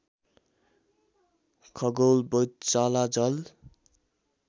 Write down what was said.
खगोल वैधशाला जल